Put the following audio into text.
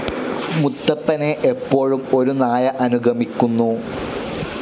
മുത്തപ്പനെ എപ്പോഴും ഒരു നായ അനുഗമിക്കുന്നു.